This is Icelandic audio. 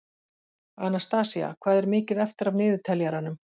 Anastasía, hvað er mikið eftir af niðurteljaranum?